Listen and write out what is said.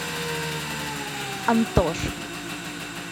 антошка